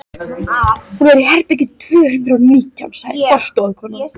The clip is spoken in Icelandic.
Hún er í herbergi tvö hundruð og nítján, sagði forstöðukonan.